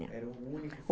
Era o único